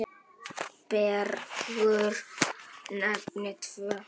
Bergur nefnir tvö.